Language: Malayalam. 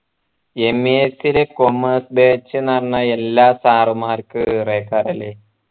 MES ലെ commerce batch ന്നു പറഞ്ഞാ എല്ലാ sir മാർക്കും ഒരു അല്ലെ